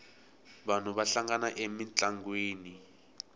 vanhu va hlangana emintlangwini